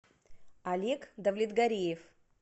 олег давлетгариев